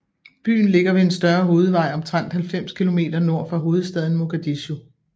Byen ligger ved en større hovedvej omtrent 90 kilometer nord for hovedstaden Mogadishu